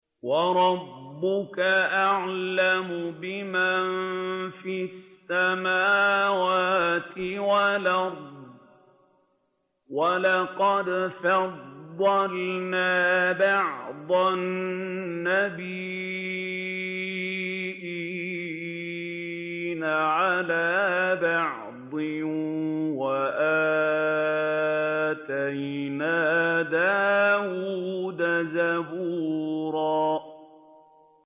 وَرَبُّكَ أَعْلَمُ بِمَن فِي السَّمَاوَاتِ وَالْأَرْضِ ۗ وَلَقَدْ فَضَّلْنَا بَعْضَ النَّبِيِّينَ عَلَىٰ بَعْضٍ ۖ وَآتَيْنَا دَاوُودَ زَبُورًا